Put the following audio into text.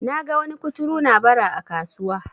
naga wani kuturu na Bara a kasuwa